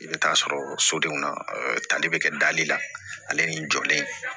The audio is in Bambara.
I bɛ taa sɔrɔ sodenw na tali bɛ kɛ dali la ale ni n jɔlen